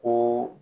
Ko